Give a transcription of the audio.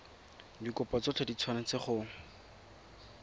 dikopo tsotlhe di tshwanetse go